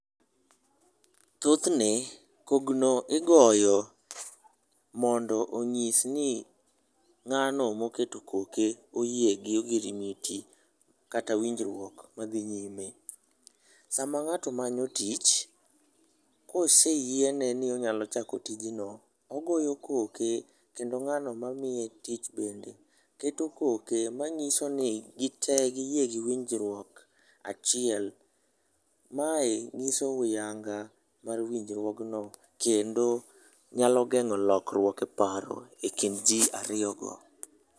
Thothne, kogno igoyo mondo onyis ni, ng'ano moketo koke oyie gi ogirimiti kata winjruok madhi nyime. Sama ng'ato manyo tich, koseyiene ni onyalo chako tijno, ogoyo koke, kendo ng'ano mamiye tich bende keto koke, manyiso ni gite giyie gi winjruok achiel. Mae nyiso huyanga mar winjruogno kendo, nyalo geng'o lokruok e paro e kind ji ariyo go.